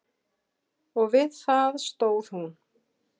Og við það stóð hún.